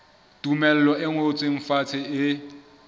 tumello e ngotsweng fatshe e